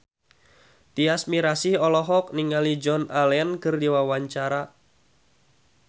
Tyas Mirasih olohok ningali Joan Allen keur diwawancara